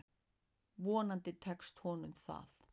Vonandi tekst honum það.